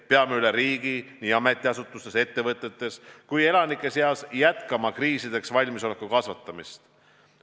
Peame üle riigi nii ametiasutustes, ettevõtetes kui ka elanike seas jätkama kriisideks valmisoleku tõhustamist.